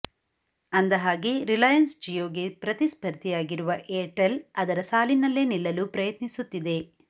ಅಂದಹಾಗೆ ರಿಲಾಯನ್ಸ್ ಜಿಯೋಗೆ ಪ್ರತಿಸ್ಪರ್ಧಿಯಾಗಿರುವ ಏರ್ಟೆಲ್ ಅದರ ಸಾಲಿನಲ್ಲೇ ನಿಲ್ಲಲು ಪ್ರಯತ್ನಿಸುತ್ತಿದೆ